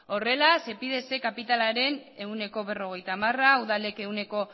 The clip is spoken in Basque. horrela sepidesen kapitalaren ehuneko berrogeita hamar udalek ehuneko